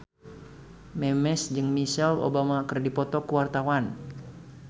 Memes jeung Michelle Obama keur dipoto ku wartawan